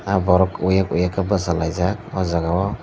ah borok uyek uyek khe bachalaijak oh jagao.